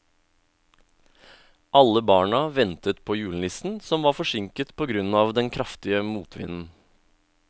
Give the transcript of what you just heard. Alle barna ventet på julenissen, som var forsinket på grunn av den kraftige motvinden.